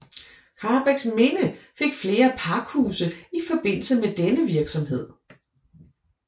Karrebæksminde fik flere pakhuse i forbindelse med denne virksomhed